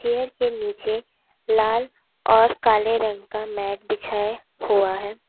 Chair के नीचे लाल और काले रंग का मैट बिछा हुआ है।